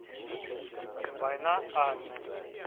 война анны